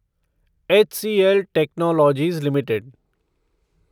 HCL technologies limited